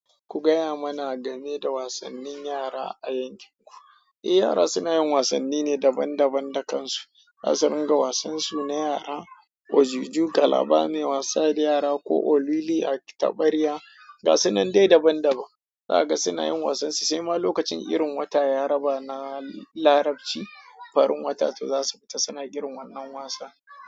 Ku gaya mana game da wasannin yara a yankinku. Eh, yara suna yin wasanni ne daban daban da kansu. Za su ringa wasansu na yara, wajuju, kalaba, mai wasa da yara ko olili a tabarya. Ga sunan dai daban daban. Za ka ga suna yin wasansu, sai ma lokacin irin wata ya raba na Larabci, farin wata, to za su fita suna girman wannan wasan.